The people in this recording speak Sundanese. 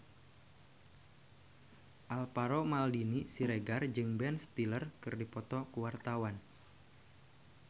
Alvaro Maldini Siregar jeung Ben Stiller keur dipoto ku wartawan